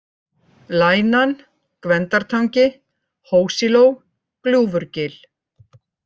Lænan, Gvendartangi, Hósiló, Gljúfurgil